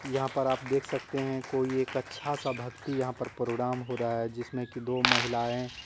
यहां पर आप देख सकते हैं कोई एक अच्छा सा भक्ति यहां पर प्रोग्राम हो रहा है जिसमें की दो महिलाएं--